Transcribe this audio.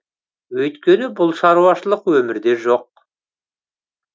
өйткені бұл шаруашылық өмірде жоқ